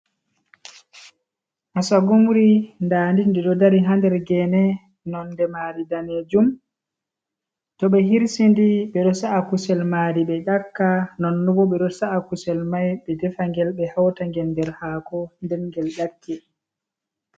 Asagumri, nda ndi ɗo dari hander gene, nonde mari danejum to ɓe hirsidi ɓeɗo sa’a kusel mari ɓe ƴakka, nonnobo ɓeɗo sa’a kusel mai ɓe defangel be hauta ngel nder haako nden gel ƴakke.